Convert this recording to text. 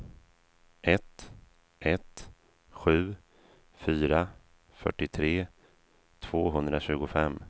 ett ett sju fyra fyrtiotre tvåhundratjugofem